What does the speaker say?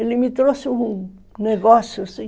Ele me trouxe um negócio assim.